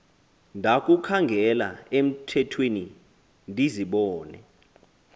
ndakukhangela emthethweni ndizibone